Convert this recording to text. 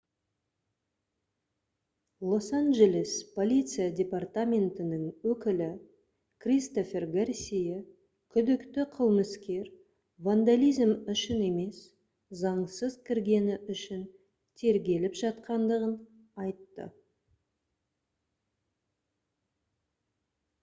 лос-анджелес полиция департаментінің өкілі кристофер гарсия күдікті қылмыскер вандализм үшін емес заңсыз кіргені үшін тергеліп жатқандығын айтты